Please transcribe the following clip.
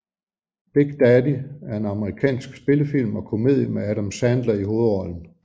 Big Daddy er en amerikansk spillefilm og komedie med Adam Sandler i hovedrollen